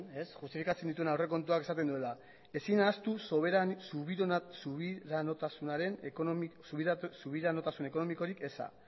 justifikatzen dituen aurrekontuak esaten duela ezin ahaztu subiranotasun ekonomikorik eza